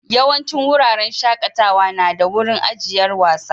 Yawancin wuraren shakatawa na da wurin ajiyar wasa.